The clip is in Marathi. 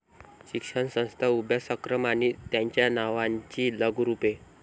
शिक्षणसंस्था, अभ्यासक्रम आणि त्यांच्या नावांची लघुरूपे